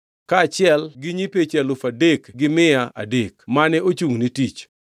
kaachiel gi nyipeche alufu adek gi mia adek (3,300) mane ochungʼ ne tich.